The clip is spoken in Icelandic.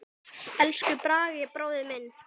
Elsku Bragi bróðir minn.